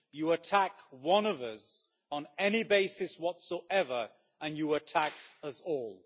You attack one of us, on any basis whatsoever, and you attack as all.